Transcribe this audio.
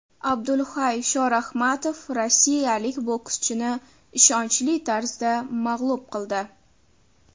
Abdulhay Shorahmatov rossiyalik bokschini ishonchli tarzda mag‘lub qildi.